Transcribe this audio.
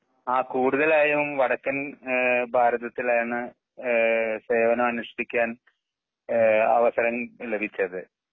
ആ കൂടുതലായും വടക്കൻ ഏഹ് ഭാരതത്തിലാണ് ഏഹ് സേവനം അനുഷ്‌ഠിക്കാൻ ഏ അവസരം ലഭിച്ചത്.